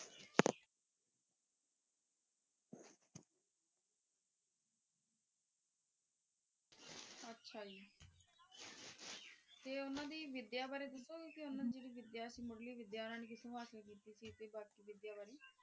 ਹਾਂਜੀ ਤੇ ਓਨਾਂ ਦੀ ਵਿਧ੍ਯ ਬਾਰੇ ਦਸੋ ਗੇ ਦਸੋ ਮੁਰਲੀ ਵਿਦ੍ਯਾ ਕਿਥੋ ਹਾਸਿਲ ਕੀਤੀ ਸੀ ਵਿਦ੍ਯਾ ਬਾਰੇ